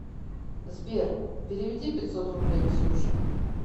сбер переведи пятьсот рублей ксюше